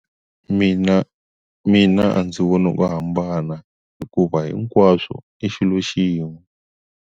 Mina mina a ndzi voni ku hambana hikuva hinkwaswo i xilo xin'we.